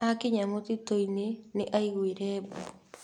Akinya mũtitũ-inĩ, nĩ aaiguire mbu.